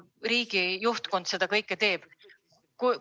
Miks Venemaa riiklik juhtkond seda kõike teeb?